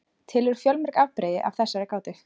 til eru fjölmörg afbrigði af þessari gátu